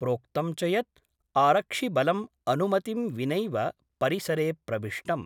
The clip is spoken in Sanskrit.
प्रोक्तं च यत् आरक्षिबलं अनुमतिं विनैव परिसरे प्रविष्टम्।